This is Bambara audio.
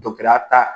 ya ta